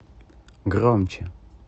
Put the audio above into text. громче